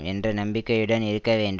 என்ற நம்பிக்கையுடன் இருக்க வேண்டு